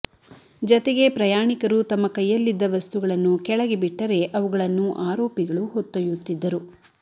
ಜತೆಗೆ ಪ್ರಯಾಣಿಕರು ತಮ್ಮ ಕೈಯಲ್ಲಿದ್ದ ವಸ್ತುಗಳನ್ನು ಕೆಳಗೆ ಬಿಟ್ಟರೆ ಅವುಗಳನ್ನು ಆರೋಪಿಗಳು ಹೊತ್ತೊಯ್ದುತ್ತಿದ್ದರು